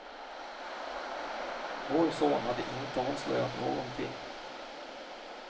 Vår son hade inte avslöjat någonting.